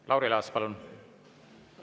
Lauri Laats, palun!